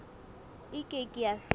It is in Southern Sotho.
e ke ke ya feta